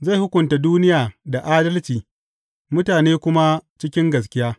Zai hukunta duniya da adalci mutane kuma cikin gaskiya.